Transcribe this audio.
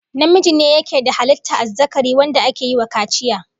Namiji ne yake da halittar azzakari wanda ake yi wa kaciya